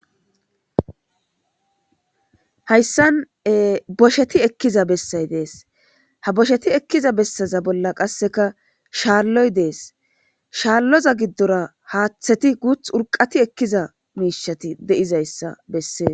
Hayssan bosheti ekkiza bessay dees ha bosheti ekkiza bessaza bolla qasseka shaarloy dees shaarloza giddora haaththeti guth urqati ekkiza miishati di'izayssa bessee